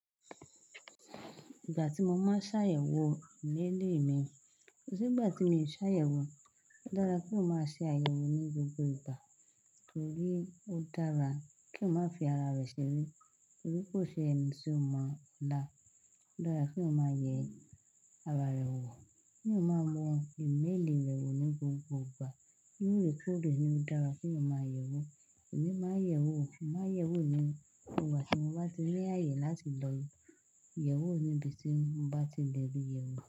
Ìgbà tí mo máa ń ṣàyẹ̀wò email mi, kosi gbà tí mi ò ṣàyẹ̀wò, ó dára kí o má ṣe àyẹ̀wò ní gbogbo ìgbà torí ó dára kí o má fi ara rẹ ṣeré torí kò ṣe ẹni tí o mọ ọlá. Ó dára kí o má yẹ ara rẹ wò, kí eyan má mo email rẹ wò ní gbogbo ìgbà. Kí ó lè tó bí i ní ó dára kí o máa yẹ̀wò. Èmi máa ń yẹ̀wò, mo máa ń yẹ̀wò ìmínú gbogbo ìgbà tí mo bá ti ní ààyè láti lòyún. Yẹ̀wò níbi tí mo bá tí lè rí ìyèwù.